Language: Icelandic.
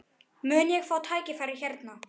Mun ég fá tækifæri hérna?